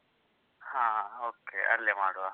ಹಾ okay ಅಲ್ಲೇ ಮಾಡುವ.